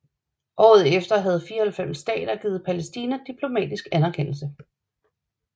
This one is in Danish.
Året efter havde 94 stater givet Palæstina diplomatisk anerkendelse